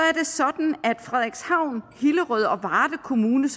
er det sådan at frederikshavn hillerød og varde kommuner